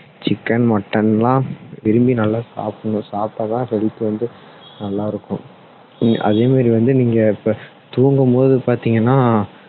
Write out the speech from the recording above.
chicken mutton லாம் விரும்பி நல்லா சாப்பிடணும் சாப்பிட்டா தான் health வந்து நல்லா இருக்கும் அதே மாதிரி வந்து நீங்க இப்போ தூங்கும் போது பார்த்தீங்கன்னா